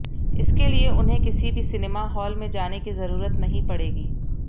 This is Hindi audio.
इसके लिए उन्हें किसी भी सिनेमा हॉल में जाने की जरूरत नहीं पड़ेगी